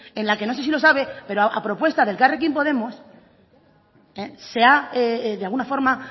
en la que no sé si los sabe pero a propuesta de elkarrekin podemos se ha de alguna forma